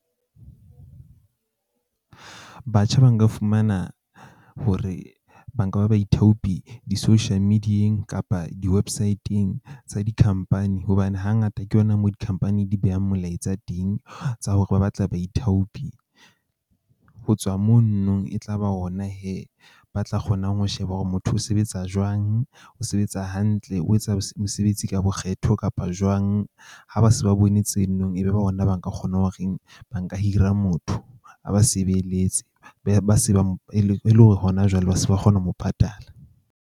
Batjha ba nka fumana hore ba nka ba baithaopi di-social media-eng kapa di-website-ng tsa di-company. Hobane hangata ke yona mo di-company di behang molaetsa teng tsa hore ba batla baithaopi. Ho tswa mono no e tla ba ona hee ba tla kgonang ho sheba hore motho o sebetsa jwang. O sebetsa hantle, o etsa mosebetsi ka bokgetho kapa jwang. Ha ba se ba bone tseno, ebe ona ba nka kgona hore ba nka hira motho a ba sebeletse be ba se ba mo, e e le hore hona jwale ba se ba kgona ho mo patala.